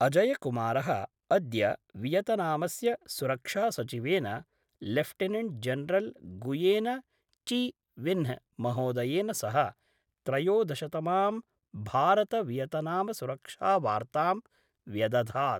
अजयकुमारः अद्य वियतनामस्य सुरक्षासचिवेन lieutenant general Nguyen Chi Vinh महोदयेन सह त्रयोदशतमां भारत वियतनामसुरक्षावार्तां व्यदधात्।